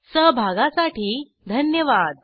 सहभागासाठी धन्यवाद